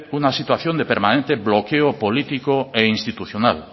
una situación de permanente bloqueo político e institucional